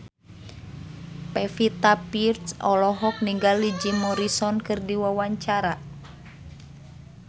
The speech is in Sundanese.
Pevita Pearce olohok ningali Jim Morrison keur diwawancara